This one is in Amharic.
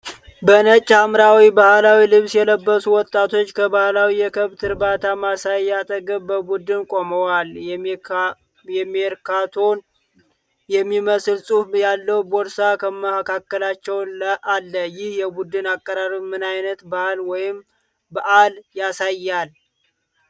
በነጭና ሐምራዊ ባህላዊ ልብስ የለበሱ ወጣቶች ከባህላዊ የከብት እርባታ ማሳያ አጠገብ በቡድን ቆመዋል። የሜርካንቶ የሚመስል ፅሁፍ ያለው ቦርሳ ከመካከላቸው አለ። ይህ የቡድን አቀራረብ ምን ዓይነት ባህል ወይም በዓል ያሳያል?